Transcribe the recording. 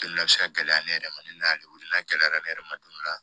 Gɛlɛya bɛ se ka gɛlɛya ne yɛrɛ ma ne y'ale wele n'a gɛlɛyara ne yɛrɛ ma dumuni na